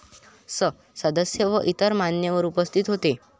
स. सदस्य व इतर मान्यवर उपस्थित होते.